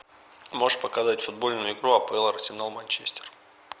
можешь показать футбольную игру апл арсенал манчестер